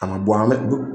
A ma bɔ an bɛ du